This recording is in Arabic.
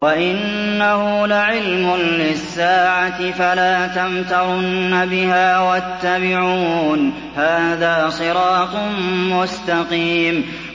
وَإِنَّهُ لَعِلْمٌ لِّلسَّاعَةِ فَلَا تَمْتَرُنَّ بِهَا وَاتَّبِعُونِ ۚ هَٰذَا صِرَاطٌ مُّسْتَقِيمٌ